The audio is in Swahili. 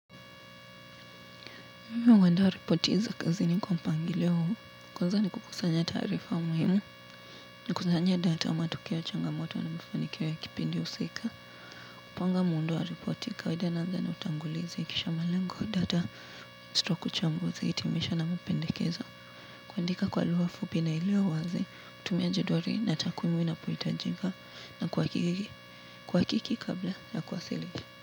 Mimi huandaa reporti za kazini kwa mpangilio huu, kwanza ni kukusanya taarifa muhimu, na kukusanya data wa matukio changamoto na mifanikio ya kipindi husika. Kupanga muundo wa reporti, kawaida ni utangulizi, kisha malengo wa data, stloku uchambuzi, hitimisho na mpendekezo. Kuandika kwa lugha fupi na iliyowazi, kutumia jedwali natakuimu inapohitajika na kuwakiki kabla ya kuwasilisha.